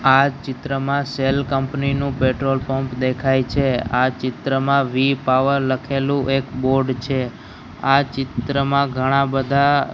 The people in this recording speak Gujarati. આ ચિત્રમાં સેલ કંપની નું પેટ્રોલ પંપ દેખાય છે આ ચિત્રમાં વી પાવર લખેલું એક બોર્ડ છે આ ચિત્રમાં ઘણા બધા--